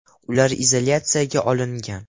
Ular izolyatsiyaga olingan.